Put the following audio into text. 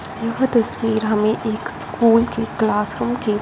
यह तस्वीर हमें एक स्कूल की क्लासरूम की--